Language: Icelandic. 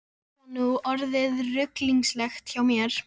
Eitthvað er þetta nú orðið ruglingslegt hjá mér.